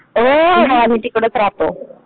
हो हो आम्ही तिकडेच रहातो.